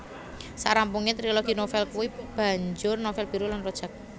Sak rampunge trilogi novel kui banjur novel Biru lan Rojak